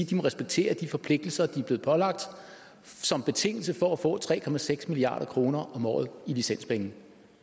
de må respektere de forpligtelser de er blevet pålagt som betingelse for at få tre milliard kroner om året i licenspenge